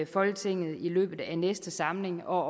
folketinget i løbet af næste samling og